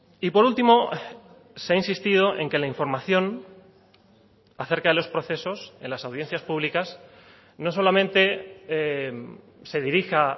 y por último se ha insistido en que la información acerca de los procesos en las audiencias públicas no solamente se dirija